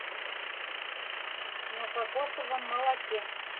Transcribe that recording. на кокосовом молоке